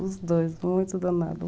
Os dois, muito danados.